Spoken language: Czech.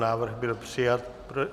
Návrh byl přijat.